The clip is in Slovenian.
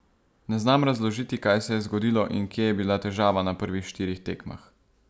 Ne znam razložiti, kaj se je zgodilo in kje je bila težava na prvih štirih tekmah.